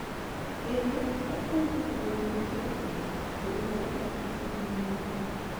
Kendo opuonjo bedo motegno, bedo maler, kod luor .